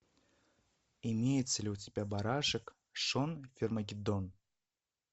имеется ли у тебя барашек шон фермагеддон